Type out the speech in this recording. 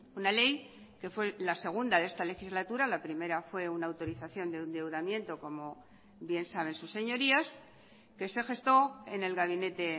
una ley que fue la segunda de esta legislatura la primera fue una autorización de endeudamiento como bien saben sus señorías que se gestó en el gabinete